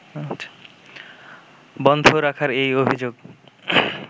বন্ধ রাখার এই অভিযোগ